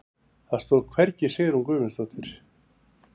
Það stóð hvergi Sigrún Guðmundsdóttir.